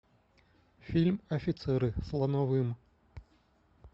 фильм офицеры с лановым